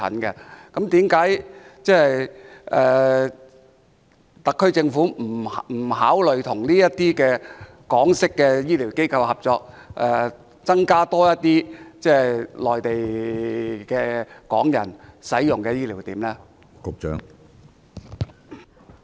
為何特區政府不考慮與這些港式醫療機構合作，在內地增加多些醫療點供香港人使用呢？